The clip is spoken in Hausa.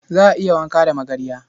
Za a iya wanka da magarya.